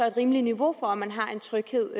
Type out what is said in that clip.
et rimeligt niveau for at man har en tryghed